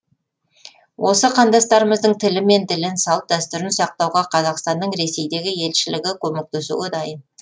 осы қандастарымыздың тілі мен ділін салт дәстүрін сақтауға қазақстанның ресейдегі елшілігі көмектесуге дайын